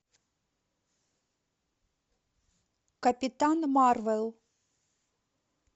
капитан марвел